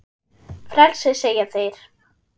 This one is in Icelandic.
Frelsi segja þeir.